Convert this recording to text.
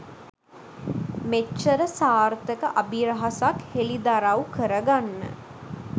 මෙච්චර සාර්ථක අභිරහසක් හෙලිදරව් කරගන්න